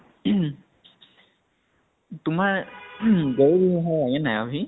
তোমাৰ লাগে নে নাই আভি ?